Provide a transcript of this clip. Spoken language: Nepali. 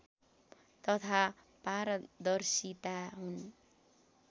तथा पारदर्शिता हुन्